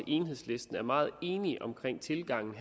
enhedslisten er meget enige om tilgangen